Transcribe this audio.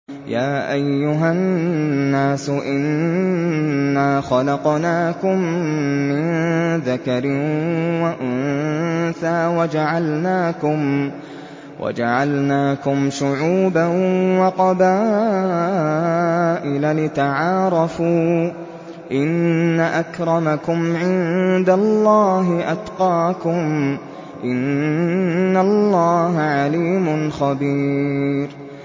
يَا أَيُّهَا النَّاسُ إِنَّا خَلَقْنَاكُم مِّن ذَكَرٍ وَأُنثَىٰ وَجَعَلْنَاكُمْ شُعُوبًا وَقَبَائِلَ لِتَعَارَفُوا ۚ إِنَّ أَكْرَمَكُمْ عِندَ اللَّهِ أَتْقَاكُمْ ۚ إِنَّ اللَّهَ عَلِيمٌ خَبِيرٌ